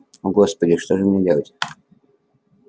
о господи что же мне делать